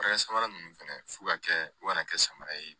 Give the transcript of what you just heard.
samara ninnu fɛnɛ f'u ka kɛ u kana kɛ samara ye